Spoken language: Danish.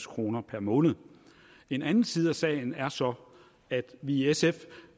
kroner per måned en anden side af sagen er så at vi i sf